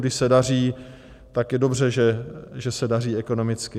Když se daří, tak je dobře, že se daří ekonomicky.